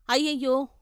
అయ్యయ్యో.